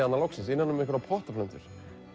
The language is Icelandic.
loksins innan um einhverjar pottaplöntur